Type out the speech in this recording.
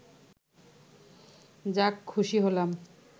যাক খুশি হলাম